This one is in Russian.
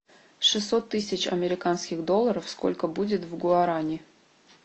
шестьсот тысяч американских долларов сколько будет в гуарани